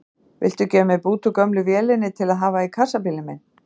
Viltu gefa mér bút úr gömlu vélinni til að hafa í kassabílinn minn?